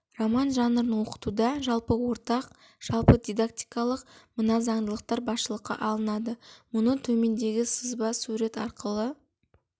роман жанрын оқытуда жалпы ортақ жалпы дидактикалық мына заңдылықтар басшылыққа алынады мұны төмендегі сызба сурет арқылы